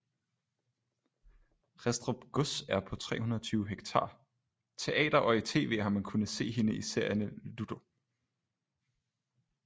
Ristrup gods er på 320 hektarTeater og i tv har man kunnet se hende i serierne ludo